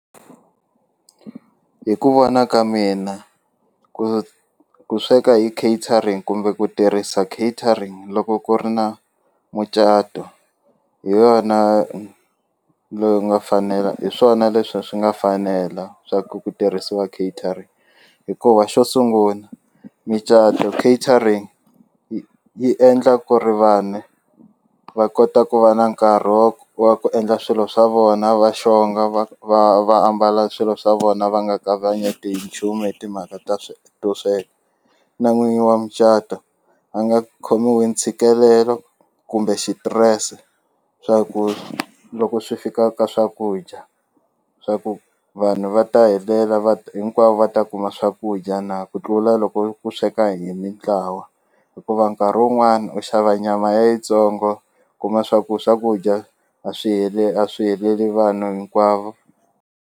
Hi ku vona ka mina ku ku sweka hi catering kumbe ku tirhisa catering loko ku ri na mucato hi yona loyi nga fanela hi swona leswi swi nga fanela swa ku ku tirhisiwa catering hikuva xo sungula micato catering yi yi endla ku ri vanhu va kota ku va na nkarhi wa ku wa ku endla swilo swa vona va xonga va va va ambala swilo swa vona va nga kavanyeti hi nchumu hi timhaka to sweka na n'winyi wa micato a nga khomiwi hi ntshikelelo kumbe xitirese swa ku loko swi fika ka swakudya swa ku vanhu va ta helela hinkwavo va ta kuma swakudya na ku tlula loko ku sweka hi mintlawa hikuva nkarhi wun'wani u xava nyama ya yitsongo kuma swa ku swakudya a swi heleli a swi heleli vanhu hinkwavo.